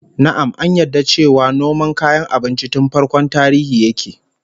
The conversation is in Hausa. Na'am, an yarda cewa noma kayan abinci tun farkon tarihi yake